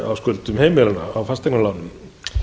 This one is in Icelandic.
á skuldum heimilanna á fasteignalánum